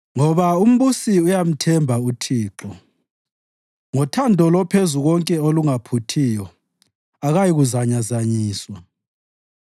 Ngoba umbusi uyamthemba uThixo; ngothando loPhezukonke olungaphuthiyo akayikuzanyazanyiswa.